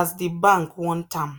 as the bank want am.